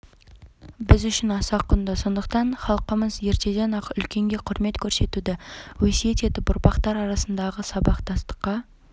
біз үшін аса құнды сондықтан іалқымыз ертеден-ақ үлкенге құрмет көрсетуді өсиет етіп ұрпақтар арасындағы сабақтастыққа